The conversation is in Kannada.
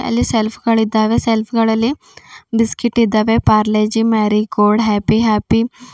ಅಲ್ಲಿ ಶೆಲ್ಫ್ ಗಳಿದ್ದಾವೆ ಶೇಲ್ಫ್ ಗಳಲ್ಲಿ ಬಿಸ್ಕೆಟ್ ಇದ್ದಾವೆ ಪಾರ್ಲೆಜಿ ಮಾರಿಗೋಲ್ಡ್ ಹ್ಯಾಪಿ ಹ್ಯಾಪಿ .